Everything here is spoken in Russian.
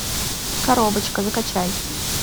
коробочка закачай